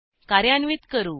कार्यान्वित करू